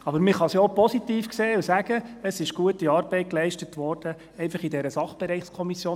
Aber man kann es ja auch positiv sehen und sagen: Es wurde gute Arbeit geleistet, einfach in dieser Sachbereichskommission.